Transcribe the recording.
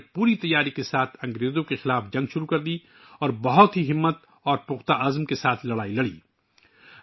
انھوں نے پوری تیاری کے ساتھ انگریزوں کے خلاف جنگ شروع کی اور بڑی ہمت و عزم کے ساتھ لڑیں